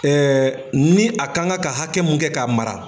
ni a ka kan ka hakɛ mun kɛ k'a mara